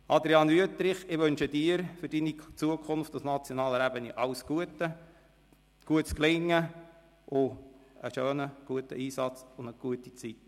Adrian Wüthrich, ich wünsche Ihnen für Ihre Zukunft auf nationaler Ebene alles Gute, gutes Gelingen sowie einen schönen, guten Einsatz und eine gute Zeit.